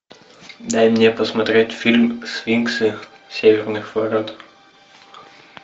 дай мне посмотреть фильм сфинксы северных ворот